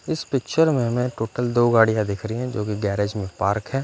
इस पिक्चर में हमें टोटल दो गाड़िया दिख रही हैं जो की गैरेज में पार्क है।